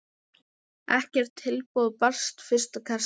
Ekkert tilboð barst fyrsta kastið.